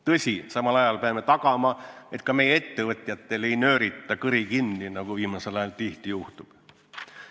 Tõsi, samal ajal peame tagama, et ka meie ettevõtjatel ei nöörita kõri kinni, nagu viimasel ajal tihti juhtub.